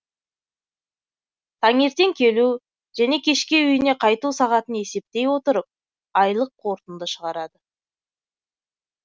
таңертең келу және кешке үйіне қайту сағатын есептей отырып айлық қорытынды шығарады